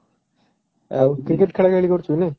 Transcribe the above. ଆଉ cricket ଖେଳା ଖେଳି କରୁଛୁ କି ନାଇଁ?